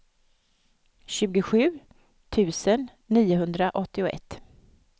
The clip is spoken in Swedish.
tjugosju tusen niohundraåttioett